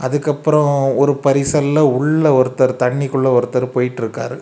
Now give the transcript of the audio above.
அதுக்கப்புறம் ஒரு பரிசல்ல உள்ள ஒருத்தர் தண்ணிக்குள்ள ஒருத்தர் போயிட்டுருக்கார்.